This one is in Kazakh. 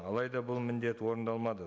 алайда бұл міндет орындалмады